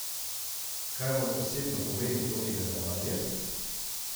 Kaj vam osebno pomeni to imenovanje?